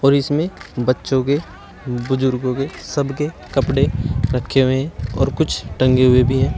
और इसमें बच्चों के बुजुर्गों के सबके कपड़े रखे हुए हैं और कुछ टंगे हुए भी हैं।